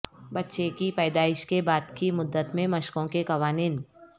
بچے کی پیدائش کے بعد کی مدت میں مشقوں کے قوانین